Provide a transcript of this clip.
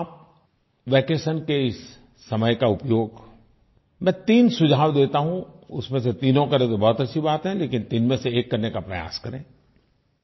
क्या आप वैकेशन के इस समय का उपयोग मैं तीन सुझाव देता हूँ उसमें से तीनों करें तो बहुत अच्छी बात है लेकिन तीन में से एक करने का प्रयास करें